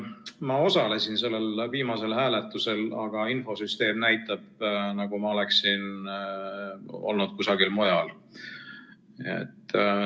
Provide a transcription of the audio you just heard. Ma osalesin sellel viimasel hääletusel, aga infosüsteem näitab, nagu ma oleksin olnud kusagil mujal.